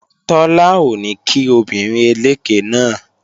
Tọ́lá ò ní kí obìnrin eléké náà